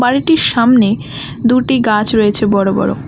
বাড়িটির সামনে দুটি গাছ রয়েছে বড় বড়।